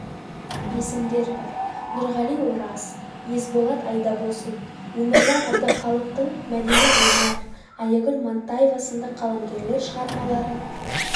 есімдер бар нұрғали ораз есболат айдабосын өміржан әбдіхалықтың мәдина омар аягүл мантаева сынды қаламгерлер шығармаларын